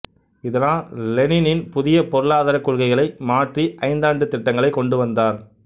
இதனால் லெனினின் புதிய பொருளாதாரக் கொள்கைகளை மாற்றி ஐந்தாண்டுத் திட்டங்களைக் கொண்டு வந்தார்